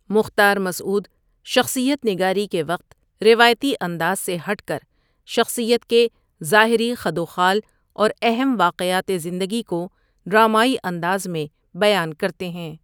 مختار مسعود شخصیت نگاری کے وقت روایتی انداز سے ہٹ کر شخصیت کے ظاہری خدوخال اور اہم واقعات زندگی کو ڈرامائی انداز میں بیان کرتے ہیں ۔